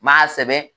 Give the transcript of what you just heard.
N m'a sɛbɛn